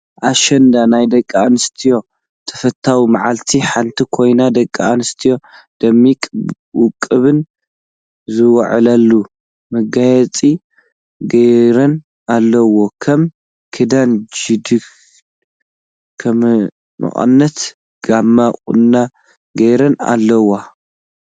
ኣሸንዳ ናይ ደቂ ኣንስትዮ ተፈታዊት መዓልቲ ሓንቲ ኮይና ደቂ ኣንስትዮ ደሚቀን ወቂበን ዝውዕላሉ መጋየፂ ገይረን ኣለዋ ከም ክዳን ጀዲድ፣ መቀነት ጋመ ቁኖ ገይረን ኣለዋ።